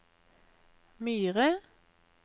Myre